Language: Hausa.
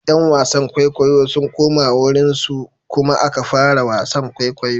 ’Yan wasan kwaikwayo sun koma wurinsu kuma aka fara wasan kwaikwayo.